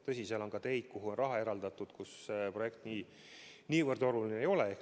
Tõsi, seal on ka teid, mille jaoks on raha eraldatud, kus projekt niivõrd oluline ei ole.